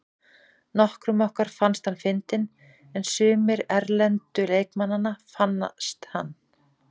Nokkrum okkar fannst hann fyndinn en sumir erlendu leikmannanna fannst hann.